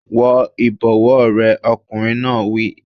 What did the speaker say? Wọ ìbọ̀wọ́ rẹ! Ọkùnrin náà wí.